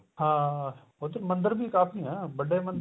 ਹਾਂ ਉੱਧਰ ਮੰਦਰ ਵੀ ਕਾਫੀ ਏ ਵੱਡੇ ਮੰਦਰ